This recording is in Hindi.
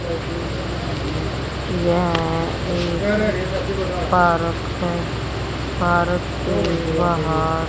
यह एक पारक है पारक के बहार--